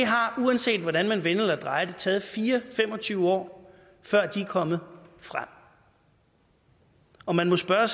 uanset hvordan man vender og drejer det taget fire og tyve til fem og tyve år før de er kommet frem og man må spørge